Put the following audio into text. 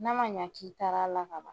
N'a ma ɲɛ k'i taara la ka ban